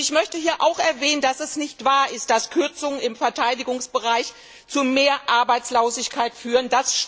Ich möchte hier auch erwähnen, dass es nicht wahr ist, dass Kürzungen im Verteidigungsbereich zu mehr Arbeitslosigkeit führen.